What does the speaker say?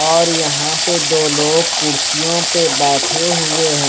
और यहां पे दो लोग कुर्सियों पे बैठे हुए हैं।